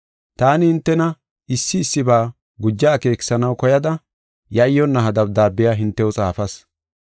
Taani hintena issi issiba guja akeekisanaw koyada yayyonna ha dabdaabiya hintew xaafas.